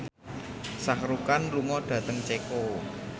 Shah Rukh Khan lunga dhateng Ceko